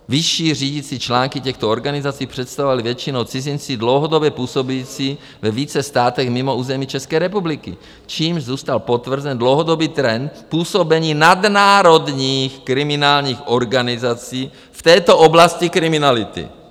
Vyšší řídící články těchto organizací představovali většinou cizinci dlouhodobě působící ve více státech mimo území České republiky, čímž zůstal potvrzen dlouhodobý trend působení nadnárodních kriminálních organizací v této oblasti kriminality.